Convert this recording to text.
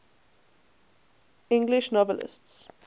english novelists